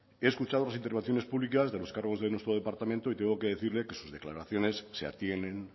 he escuchado las intervenciones públicas de los cargos de nuestro departamento y tengo que decirle que sus declaraciones se atienen